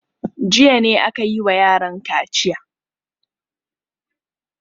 Jiya ne aka yi wa yaran kaciya.